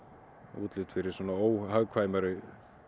útlit fyrir óhagkvæmari